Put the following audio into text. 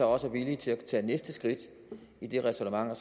også er villig til at tage næste skridt i det ræsonnement og